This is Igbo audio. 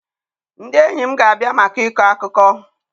Ndị enyi m ga-abịa maka ịkọ akụkọ.